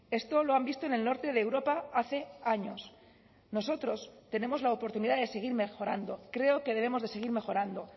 esto lo han visto en el norte de europa hace años nosotros tenemos la oportunidad de seguir mejorando creo que debemos de seguir mejorando